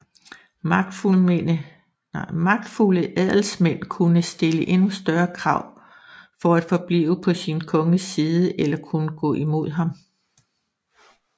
Magtfulde adelsmænd kunne stille endnu større krav for at forblive på sin konges side eller kunne gå imod ham